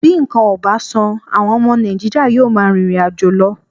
Bí nǹkan ò bá sàn, àwọn ọmọ Nàìjíríà yóò máa rìnrìn àjò lọ